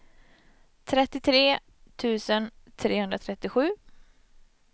trettiotre tusen trehundratrettiosju